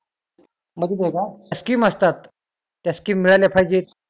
scheme असतात त्या scheme मिळाल्या पाहिजेत